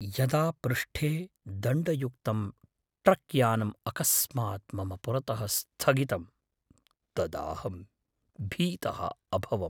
यदा पृष्ठे दण्डयुक्तं ट्रक्यानम् अकस्मात् मम पुरतः स्थगितं, तदाहं भीतः अभवम्।